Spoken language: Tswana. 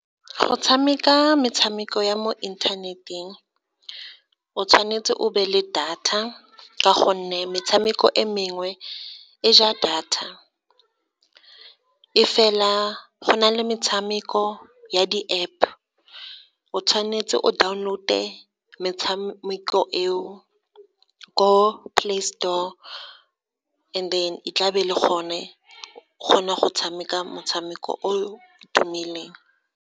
Go tshameka metshameko ya mo inthaneteng, o tshwanetse o be le data ka gonne metshameko e mengwe e ja data, e fela go na le metshameko ya di-App. O tshwanetse o download-e metshameko eo ko Play Store and then e tla be le gone o kgona go tshameka motshameko o tumileng.